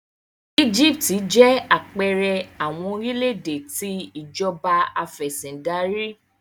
Egipti jẹ apẹẹrẹ awọn orilẹ-ede ti Ìjọba Afẹ̀sìndarí